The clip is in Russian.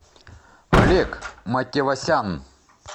олег мативасян